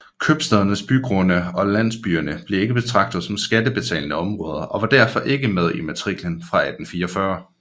Købstædernes bygrunde og landsbyerne blev ikke betragtet som skattebetalende områder og var derfor ikke med i matriklen fra 1844